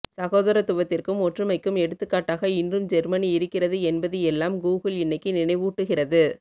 சகோதரத்துவத்திற்கும் ஒற்றுமைக்கும் எடுத்துக்காட்டாக இன்றும் ஜெர்மனி இருக்கிறது என்பதி எல்லாம் கூகுள் இன்னிக்கு நினைவூட்டுகிறது